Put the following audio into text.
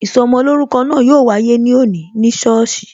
Ìsọmolórúkọ náà yo wáyé ní òní ní sọ́ọ̀sì